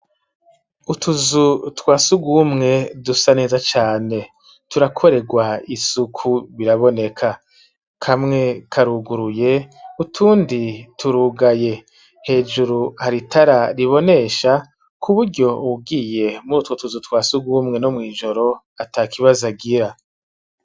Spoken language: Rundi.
Utuzu twa surwumwe dusa neza cane, turakorerwa isuku biraboneka, kamwe karuguruye utundi turugaye, hejuru hari itara ribonesha, ku buryo uwugiye muri utwo tuzu twa surwumwe no mw'ijoro, atakibazo agira.